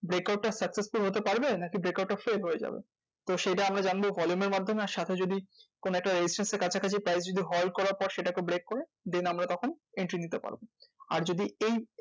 Break out টা successful হতে পারবে? নাকি brack out টা fail হয়ে যাবে? তো সেইটা আমরা জানবো volume এর মাধ্যমে আর সাথে যদি কোনো একটা resistance এর কাছাকাছি price যদি halt করার পরে সেটাকে break করে then আমরা তখন entry নিতে পারবো। আর যদি এই